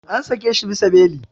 An sake shi bisa beli.